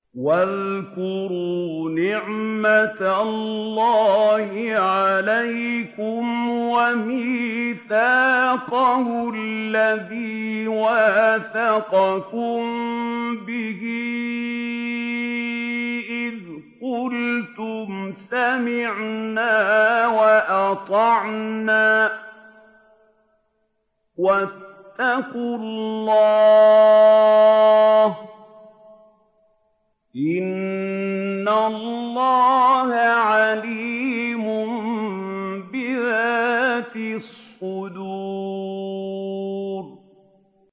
وَاذْكُرُوا نِعْمَةَ اللَّهِ عَلَيْكُمْ وَمِيثَاقَهُ الَّذِي وَاثَقَكُم بِهِ إِذْ قُلْتُمْ سَمِعْنَا وَأَطَعْنَا ۖ وَاتَّقُوا اللَّهَ ۚ إِنَّ اللَّهَ عَلِيمٌ بِذَاتِ الصُّدُورِ